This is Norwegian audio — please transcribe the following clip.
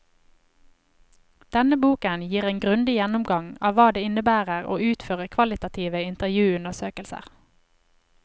Denne boken gir en grundig gjennomgang av hva det innebærer å utføre kvalitative intervjuundersøkelser.